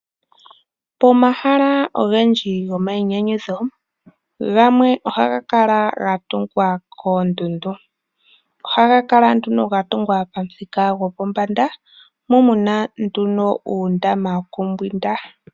Omahala ogendji gomainyanyudho, gamwe ohaga kala ga tungwa koondundu. Ohaga kala nduno ga tungwa pamuthika gwopombanda mu mu na nduno uundama wokumbwinda.